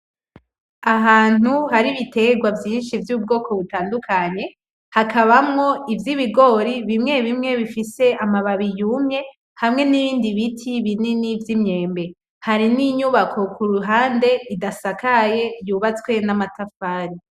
Ahantu hari ibitegwa vyinshi vy'ubwoko butandukanye, hakabamwo ivy'ibigori bimwe bimwe bifise amababi yumye, hamwe n'ibindi biti binini vy'imyembe, hari n'inyubako kuruhande idasakaye yubatswe n'amatafari.